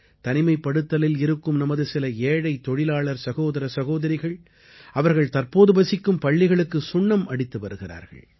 தனிமைப்படுத்தலில் இருக்கும் நமது சில ஏழை தொழிலாளர் சகோதர சகோதரிகள் அவர்கள் தற்போது வசிக்கும் பள்ளிகளுக்குச் சுண்ணம் அடித்து வருகிறார்கள்